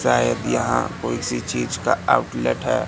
शायद यहां कोई सी चीज का आउटलेट है।